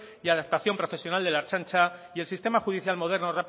y adaptación profesional de la ertzaintza y el sistema judicial moderno